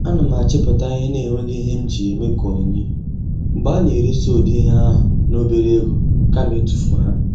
A na m achịpụta ihe na enweghị ihe m ji ha eme ka onyinye, mgbe a na eresi ụdị ihe ahụ n'obere ego kama itufu ha